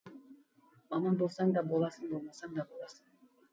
маман болсаң да боласың болмасаң да боласың